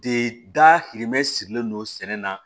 De da hirimɛ sirilen don sɛnɛ na